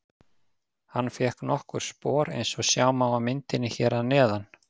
Hann fékk nokkur spor eins og sjá má á myndinni hér að neðan.